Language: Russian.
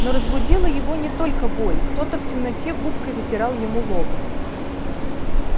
но разбудила его не только боль кто-то в темноте губкой вытирал ему лоб